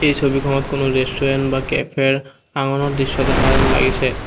এই ছবিখনত কোনো ৰেষ্টোৰেন্ত বা কেফেৰ দৃশ্য দেখা যেন লাগিছে।